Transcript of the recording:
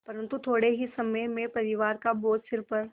परन्तु थोडे़ ही समय में परिवार का बोझ सिर पर